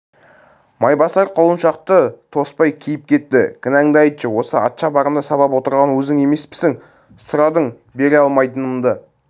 майбасар құлыншақты тоспай киіп кетті кінәңді айтшы осы атшабарымды сабап отырған өзің емеспісің сұрадың бере алмайтынымды